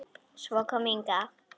Svo kom Inga.